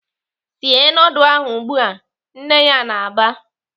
"Sie nudul ahụ ugbu a!" Nne ya na-aba.